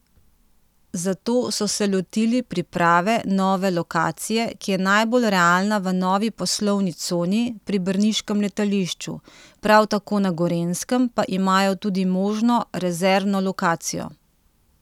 Zato so se lotili priprave nove lokacije, ki je najbolj realna v novi poslovni coni pri brniškem letališču, prav tako na Gorenjskem pa imajo tudi možno rezervno lokacijo.